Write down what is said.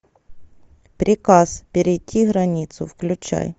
приказ перейти границу включай